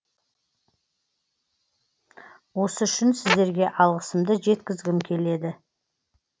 осы үшін сіздерге алғысымды жеткізгім келеді